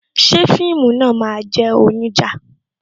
Ṣé fíìmù náà máa jẹ́ onija?